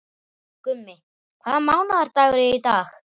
Gummi, hvaða mánaðardagur er í dag?